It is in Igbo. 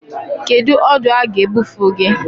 Kedu ọdụ a ga-ebufe gị?